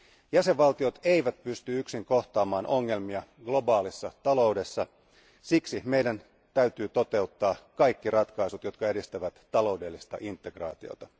Jäsenvaltiot eivät pysty yksin kohtaamaan ongelmia globaalissa taloudessa, siksi meidän täytyy toteuttaa kaikki ratkaisut, jotka edistävät taloudellista integraatiota.